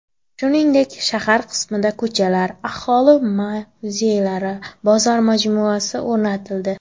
Shuningdek, shahar qismida ko‘chalar, aholi mavzelari, bozor majmuasi o‘rganildi.